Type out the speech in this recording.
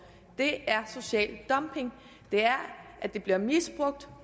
det er social dumping det er at det bliver misbrugt